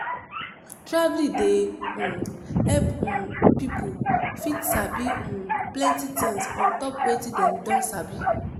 Traveling dey um help um pipo fit sabi um plenty tins ontop wetin dem don sabi